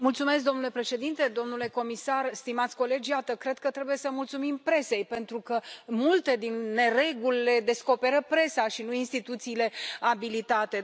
Domnule președinte, domnule comisar, stimați colegi, cred că trebuie să mulțumim presei, pentru că multe din nereguli le descoperă presa și nu instituțiile abilitate.